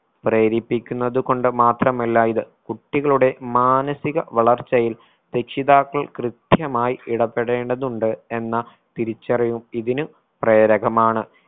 പ്രേരിപ്പിക്കുന്നത് കൊണ്ട് മാത്രമല്ല ഇത്. കുട്ടികളുടെ മാനസിക വളർച്ചയിൽ രക്ഷിതാക്കൾ കൃത്യമായി ഇടപെടേണ്ടതുണ്ട് എന്ന തിരിച്ചറിവും ഇതിന് പ്രേരകമാണ്